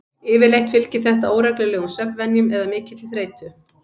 Yfirleitt fylgir þetta óreglulegum svefnvenjum eða mikilli þreytu.